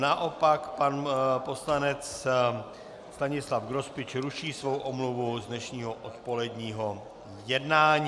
Naopak pan poslanec Stanislav Grospič ruší svou omluvu z dnešního odpoledního jednání.